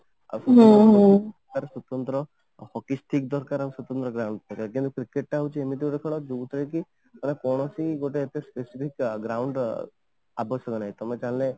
ହୁଁ ହୁଁ ସ୍ୱତନ୍ତ୍ର ହକି stick ଦରକାର ସ୍ୱତନ୍ତ୍ର ground ଦରକାର then cricket ଟା ହଉଛି ଏମିତି ଗୋଟେ ଖେଳ ଯୋଉଥିରେ କି କୌଣସି ଯେମିତି specific ground ର ଆବଶ୍ୟକତା ନାହିଁ ତମେ ଚାହିଁଲେ